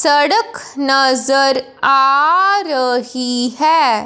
सड़क नज़र आ रही है।